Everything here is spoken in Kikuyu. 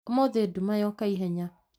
Ũmũthĩ nduma yŏka ihenya